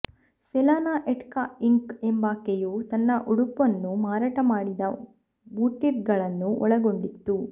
Selena etc Inc ಎಂಬಾಕೆಯು ತನ್ನ ಉಡುಪನ್ನು ಮಾರಾಟ ಮಾಡಿದ ಬೂಟೀಕ್ಗಳನ್ನು ಒಳಗೊಂಡಿತ್ತು